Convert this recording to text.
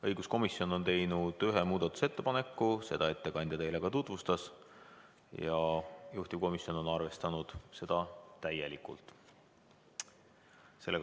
Õiguskomisjon on teinud ühe muudatusettepaneku, seda ettekandja teile ka tutvustas ja juhtivkomisjon on arvestanud seda täielikult.